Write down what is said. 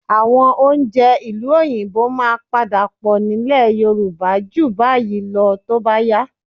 Àwọn oúnjẹ ìlú Òyìnbó máa padà pọ̀ nílẹ̀ Yorùbá ju báyìí lọ tó bá yá